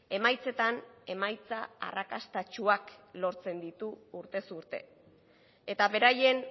emaitzetan emaitza arrakastatsuak lortzen ditu urtez urte eta beraien